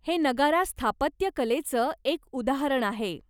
हे नगारा स्थापत्यकलेचं एक उदाहरण आहे.